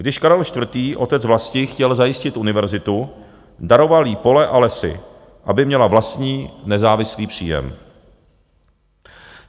Když Karel IV., otec vlasti, chtěl zajistit univerzitu, daroval jí pole a lesy, aby měla vlastní nezávislý příjem.